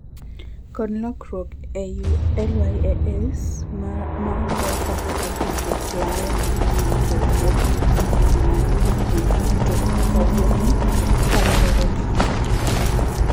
Kod lokruok ei LAYS ma oler kaka aggregate lal mar yuto wuoth mar ngima ne jopuonjre duto kawuone kalerore kaka.